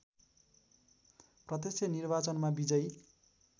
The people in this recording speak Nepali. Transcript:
प्रत्यक्ष निर्वाचनमा विजयी